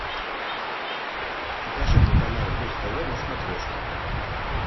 покажи мне канал муз тв на смотрешке